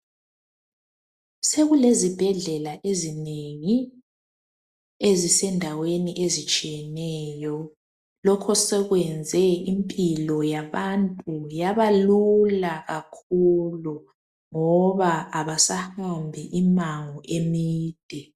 Sekulezibhedlela ezinengi ezisendaweni ezitshiyeneyo, lokho sekwenze impilo yabantu yaba lula kakhulu ngoba abasahambi imango emide.